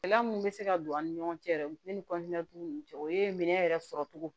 Gɛlɛya min bɛ se ka don an ni ɲɔgɔn cɛ ne ni ninnu cɛ o ye minɛ yɛrɛ sɔrɔ cogo